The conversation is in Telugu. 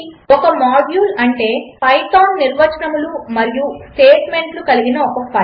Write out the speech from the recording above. ఒక మాడ్యూల్ అంటే పైథాన్ నిర్వచనములు మరియు స్టేట్మెంట్లు కలిగిన ఒక ఫైల్